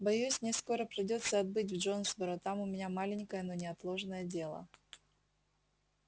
боюсь мне скоро придётся отбыть в джонсборо там у меня маленькое но неотложное дело